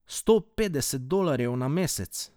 Sto petdeset dolarjev na mesec.